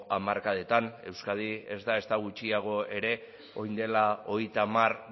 hamarkadetan euskadi ez da ezta gutxiago ere orain dela hogeita hamar